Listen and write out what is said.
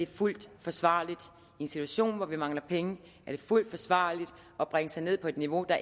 fuldt forsvarligt i en situation hvor vi mangler penge er det fuldt forsvarligt at bringe sig ned på et niveau der